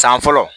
San fɔlɔ